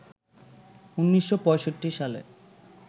১৯৬৫ সালে